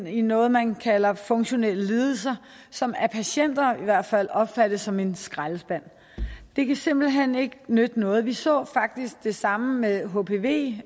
i noget man kalder funktionelle lidelser som af patienter i hvert fald opfattes som en skraldespand det kan simpelt hen ikke nytte noget vi så faktisk det samme med hpv